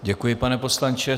Děkuji, pane poslanče.